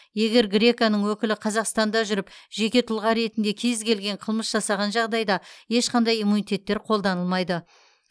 еер греконың өкілі қазақстанда жүріп жеке тұлға ретінде кезкелген қылмыс жасаған жағдайда ешқандай иммунитеттер қолданылмайды